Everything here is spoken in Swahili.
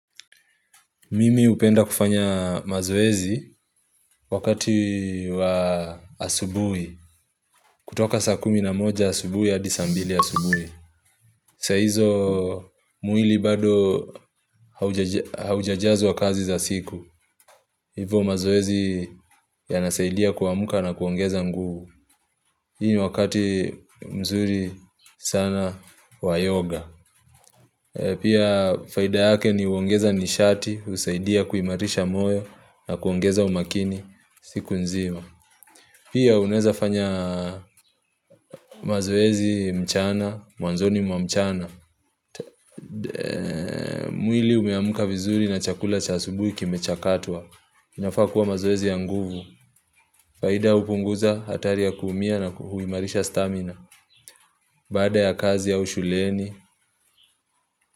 Mimi hupenda kufanya mazoezi wakati wa asubuhi. Kutoka saa kumi na moja asubuhi hadi saa mbili asubuhi. Saa hizo mwili bado haujajazwa kazi za siku. Hivo mazoezi yanasaidia kuamka na kuongeza nguvu. Hii wakati mzuri sana wa yoga. Pia faida yake ni uongeza nishati, husaidia kuimarisha moyo na kuongeza umakini. Siku nzima Pia unaweza fanya mazoezi mchana Mwanzoni mwanzoni mwa mchana mwili umeamka vizuri na chakula cha asubuhi kimecha katwa inafaa kuwa mazoezi ya nguvu Faida hupunguza hatari ya kuumia na huimarisha stamina Baada ya kazi ya au shuleni.